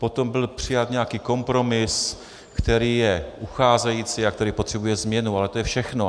Potom byl přijat nějaký kompromis, který je ucházející a který potřebuje změnu, ale to je všechno.